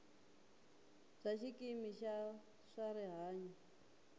bya xikimi xa swa rihanyo